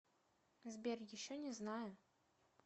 сбер еще не знаю